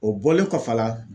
O bɔlen kɔfɛ a la